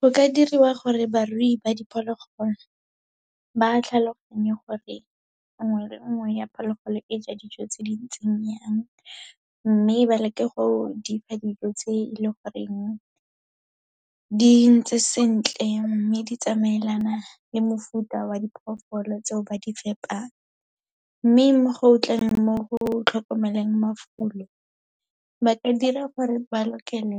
Go ka diriwa gore barui ba diphologolo, ba tlhaloganye gore nngwe le nngwe ya phologolo e ja dijo tse di ntseng yang. Mme, ba leke go di fa dijo tse e le goreng di ntse sentle, mme di tsamaelana le mofuta wa diphoofolo tseo ba di fepang. Mme mo go tleng mo go tlhokomeleng mafulo, ba ka dira gore ba lokele